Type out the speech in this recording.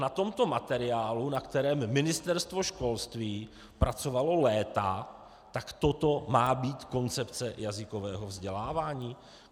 Na tomto materiálu, na kterém Ministerstvo školství pracovalo léta, tak toto má být koncepce jazykového vzdělávání?